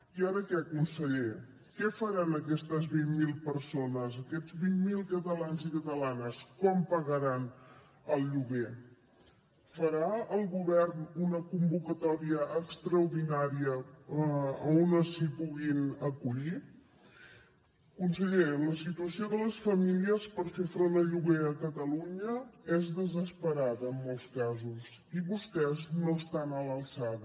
i ara què conseller què faran aquestes vint mil persones aquests vint mil catalans i catalanes com pagaran el lloguer farà el govern una convocatòria extraordinària on s’hi puguin acollir conseller la situació de les famílies per fer front al lloguer a catalunya és desesperada en molts casos i vostès no estan a l’alçada